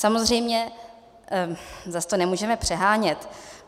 Samozřejmě zas to nemůžeme přehánět.